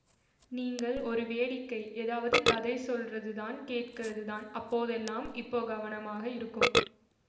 நீங்க ஒரு வேடிக்கை ஏதாவது கதை சொல்றதுதான் கேட்கறதுதான் அதெல்லாம் இப்போ கவனமா இருக்கும்